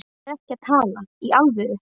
Hún er ekki að tala í alvöru.